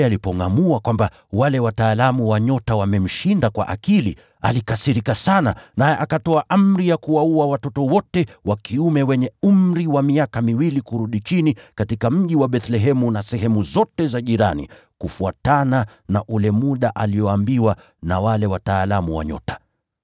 Herode alipongʼamua kwamba wale wataalamu wa nyota wamemshinda kwa akili, alikasirika sana, naye akatoa amri ya kuwaua watoto wote wa kiume wenye umri wa miaka miwili kurudi chini katika mji wa Bethlehemu na sehemu zote za jirani, kufuatana na ule muda alioambiwa na wale wataalamu wa nyota.